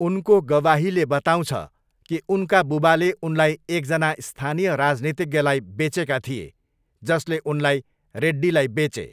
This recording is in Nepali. उनको गवाहीले बताउँछ कि उनका बुबाले उनलाई एकजना स्थानीय राजनीतिज्ञलाई बेचेका थिए, जसले उनलाई रेड्डीलाई बेचे।